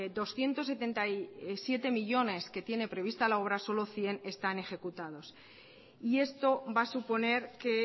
doscientos setenta y siete millónes que tiene previsto la obra solo cien están ejecutados y esto va a suponer que